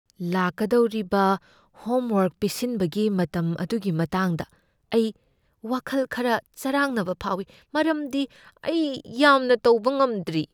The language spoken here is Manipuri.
ꯂꯥꯛꯀꯗꯧꯔꯤꯕ ꯍꯣꯝꯋꯔꯛ ꯄꯤꯁꯤꯟꯕꯒꯤ ꯃꯇꯝ ꯑꯗꯨꯒꯤ ꯃꯇꯥꯡꯗ ꯑꯩ ꯋꯥꯈꯜ ꯈꯔ ꯆꯔꯥꯡꯅꯕ ꯐꯥꯎꯢ ꯃꯔꯝꯗꯤ ꯑꯩ ꯌꯥꯝꯅ ꯇꯧꯕ ꯉꯝꯗ꯭ꯔꯤ꯫